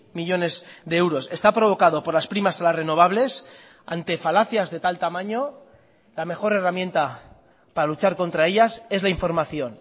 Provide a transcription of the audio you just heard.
millónes de euros está provocado por las primas a las renovables ante falacias de tal tamaño la mejor herramienta para luchar contra ellas es la información